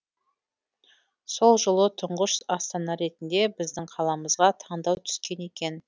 сол жолы тұңғыш астана ретінде біздің қаламызға таңдау түскен екен